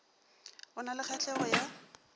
o na le kgahlego ya